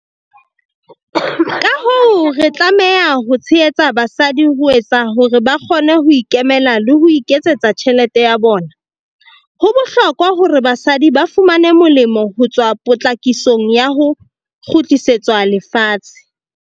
Ka hoo, re tlameha ho tshehetsa basadi ho etsa hore ba kgone ho ikemela le ho iketsetsa tjhelete ya bona. Ho bohlokwa hore basadi ba fumane molemo ho tswa potlakisong ya ho kgutlisetswa lefatshe.